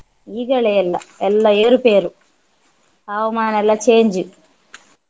ಈಗಲೇ ಎಲ್ಲ ಎಲ್ಲ ಏರು ಪೇರು ಹವಮಾನ ಎಲ್ಲ change .